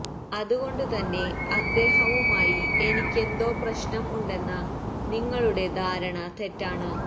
അതുകൊണ്ട് തന്നെ അദ്ദേഹവുമായി എനിക്കെന്തോ പ്രശ്നം ഉണ്ടെന്ന നിങ്ങളുടെ ധാരണ തെറ്റാണ്